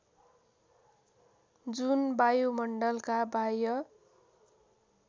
जुन वायुमण्डलका बाह्य